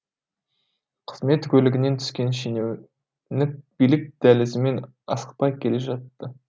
қызмет көлігінен түскен шенеунік билік дәлізімен асықпай келе жатты